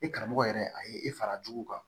E karamɔgɔ yɛrɛ a ye e fara jugu kan